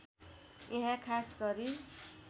यहाँ खास गरी